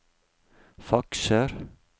fakser